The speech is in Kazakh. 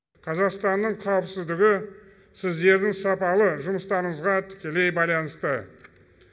қазақстанның қауіпсіздігі сіздердің сапалы жұмыстарыңызға тікелей байланысты